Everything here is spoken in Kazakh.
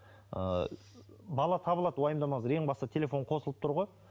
ы бала табылады уайымдамаңыздар ең басты телефон қосылып тұр ғой